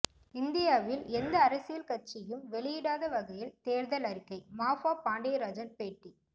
இந்தியாவில் எந்த அரசியல் கட்சியும் வெளியிடாத வகையில் தேர்தல் அறிக்கை மாஃபா பாண்டியராஜன் பேட்டி